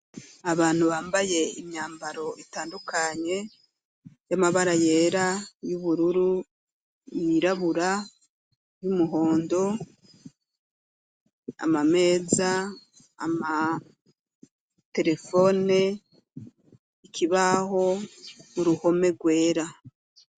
Abantu bampaye imyambaro itandukanye y'amabara yera ,yubururu, yirabura y'umuhondo, amameza ,amaterefone ikibaho n'uruhome gwera .